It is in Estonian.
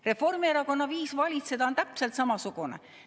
Reformierakonna viis valitseda on täpselt samasugune.